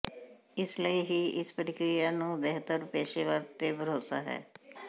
ਇਸ ਲਈ ਹੀ ਇਸ ਪ੍ਰਕਿਰਿਆ ਨੂੰ ਬਿਹਤਰ ਪੇਸ਼ੇਵਰ ਤੇ ਭਰੋਸਾ ਹੈ